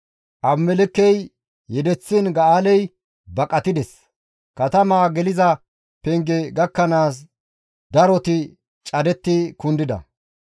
Abimelekkey yedeththiin Ga7aaley baqatides; katama geliza penge gakkanaas daroti cadettidi kundida.